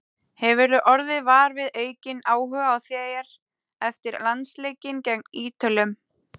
Hefurðu orðið var við aukinn áhuga á þér eftir landsleikinn gegn Ítölum?